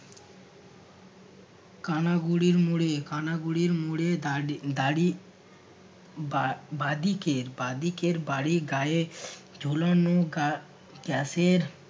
কানাগুরির মোড়ে কানা গুরির মোড়ে দাঁড়ি দাঁড়ি বা~ বাঁদিকের বাঁদিকের বাড়ির গায়ে ঝোলোনো গা gas এর